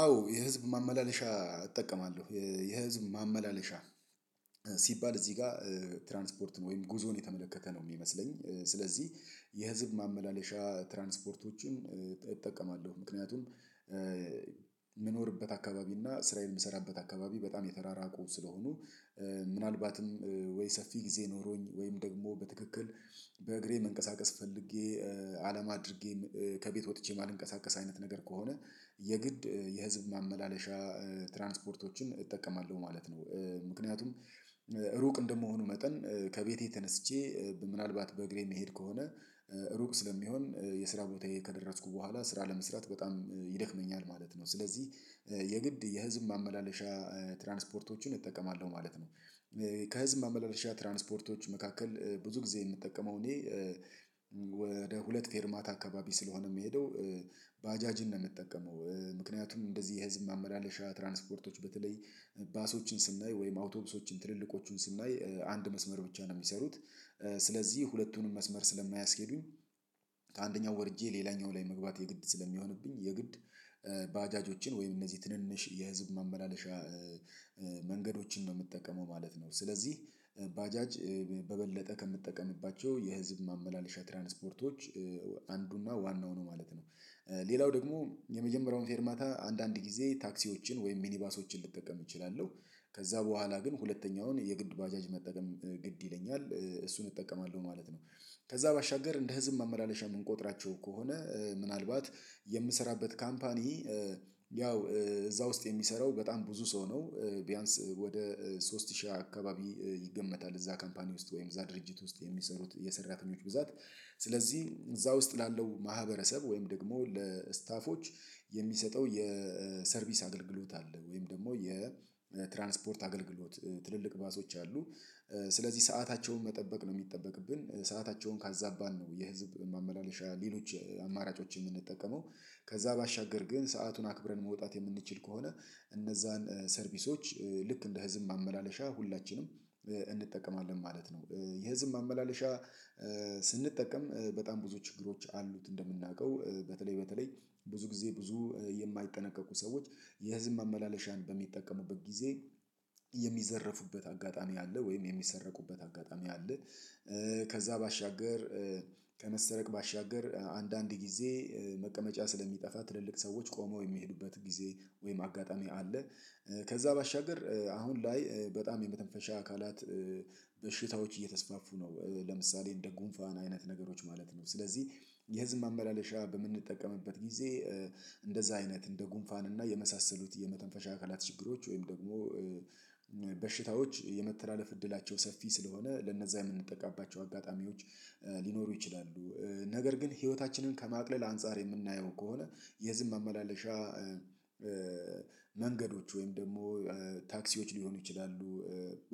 አዎ የህዝብ ማመላለሻ እጠቀማለሁ የህዝብ ማመላለሻ። ሲባል እዚህ ጋር ትራንስፖርት ወይም ጉዞን የተመለከተ ነው የሚመስለኝ። ስለዚህ የህዝብ ማመላለሻ ትራንስፖርቶችን እጠቀማለሁ ምክንያቱም የምኖርበት አካባቢ እና ስራዬን የምሰራበት አካባቢ በጣም የተራራቁ ስለሆኑ። ምናልባትም ወይ ሰፊ ጊዜ ኖሮኝ ወይም ደግሞ በትክክል በእግሬ መንቀሳቀስ ፈልጌ አላማ አድርጌ ከቤት ወጥቼ ማልንቀሳቀስ አይነት ነገር ከሆነ። የግድ የህዝብ ማመላለሻ ትራንስፖርቶችን እጠቀማለሁ ማለት ነው። ምክንያቱም ሩቅ እንደመሆኑ መጠን ከቤቴ ተነስቼ ምናልባት በእግሬ መሄድ ከሆነ ሩቅ ስለሚሆን የስራ ቦታዬ ከደረስኩ በኋላ ስራ ለመስራት በጣም ይደክመኛል ማለት ነው። ስለዚህ የግድ የህዝብ ማመላለሻ ትራንስፖርቶችን እጠቀማለሁ ማለት ነው። ከህዝብ ማመላለሻ ትራንስፖርቶች መካከል ብዙ ጊዜ የምጠቀመው እኔ ወደ ሁለት ፌርማት አካባቢ ስለሆነ የምሄደው ባጃጅን ነው የምጠቀመው። ምክንያቱም እንደዚህ የህዝብ ማመላለሻ ትራንስፖርቶች በተለይ ባሶችን ስናይ ወይም አውቶብሶችን ትልልቆቹን ስናይ አንድ መስመር ብቻ ነው የሚሰሩት። ስለዚህ ሁለቱንም መስመር ስለማያስኬዱኝ ከአንደኛው ወርጄ ሌላኛው ላይ መግባት የግድ ስለሚሆንብኝ የግድ ባጃጆችን ወይም እነዚህ ትንንሽ የህዝብ ማመላለሻ መንገዶችን ነው የምጠቀመው ማለት ነው። ስለዚህ ባጃጅ በበለጠ ከምትጠቀምባቸው የህዝብ ማመላለሻ ትራንስፖርቶች አንዱና ዋናው ነው ማለት ነው። ሌላው ደግሞ የመጀመሪያውን ፌርማታ አንዳንድ ጊዜ ታክሲዎችን ወይም ሚኒባሶችን ልጠቀም እችላለሁ ከዛ በኋላ ግን ሁለተኛውን የግድ ባጃጅ መጠቀም ግድ ይለኛል እሱን እጠቀማለሁ ማለት ነው። ከዛ ባሻገር እንደ ህዝብ መመላለሻ የምንቆጥራቸው ከሆነ ምናልባት የምሰራበት ካምፓኒ ያው እዛ ውስጥ የሚሰራው በጣም ብዙ ሰው ነው። ቢያንስ ወደ ሶስት ሺህ አካባቢ ይገመታል። እዛ ካምፓኒ ውስጥ ወይም እዛ ድርጅት ውስጥ የሚሰሩት የሰራተኞች ብዛት ስለዚህ እዛ ውስጥ ላለው ማህበረሰብ ወይም ደግሞ ለስታፎች የሚሰጠው የሰርቪስ አገልግሎት አለ። ወይም ደግሞ የትራንስፖርት አገልግሎት ትልልቅ ባሶች አሉ። ስለዚህ ሰአታቸውን መጠበቅ ነው የሚጠበቅብን ሰአታቸውን ካዛባን ነው የህዝብ ማመላለሻ ሌሎች አማራጮችን የምንጠቀመው። ከዛ ባሻገር ግን ሰአቱን አክብረን መውጣት የምንችል ከሆነ እነዛን ሰርቪሶች ልክ እንደ ህዝብ ማመላለሻ ሁላችንም እንጠቀማለን ማለት ነው። የህዝብ ማመላለሻ ስንጠቀም በጣም ብዙ ችግሮች አሉት እንደምናውቀው በተለይ በተለይ ብዙ ጊዜ ብዙ የማይጠነቀቁ ሰዎች የህዝብ መመላለሻን በሚጠቀሙበት ጊዜ የሚዘረፉበት አጋጣሚ አለ ወይም የሚሰረቁበት አጋጣሚ አለ። ከዛ ባሻገር ከመሰረቅ ባሻገር አንዳንድ ጊዜ መቀመጫ ስለሚጠፋ ትልልቅ ሰዎች ቆመው የሚሄዱበት ጊዜ ወይም አጋጣሚ አለ። ከዛ ባሻገር አሁን ላይ በጣም የመተንፈሻ አካላት በሽታዎች እየተስፋፉ ነው። ለምሳሌ እንደ ጉንፋን አይነት ነገሮች ማለት ነው ስለዚህ የህዝብ ማመላለሻ በምንጠቀምበት ጊዜ እንደዛ አይነት እንደ ጉንፋን እና የመሳሰሉት የመተንፈሻ አካላት ችግሮች ወይም ደግሞ በሽታዎች የመተላለፍ እድላቸው ሰፊ ስለሆነ ለነዛ የምንጠቃባቸው አጋጣሚዎች ሊኖሩ ይችላሉ። ነገር ግን ህይወታችንን ከማቅለል አንፃር የምናየው ከሆነ የህዝብም መመላለሻ መንገዶች ወይም ደግሞ ታክሲዎች ሊሆኑ ይችላሉ